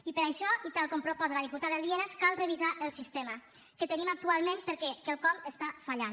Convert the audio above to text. i per això i tal com proposa la diputada lienas cal revisar el sistema que tenim actualment perquè quelcom està fallant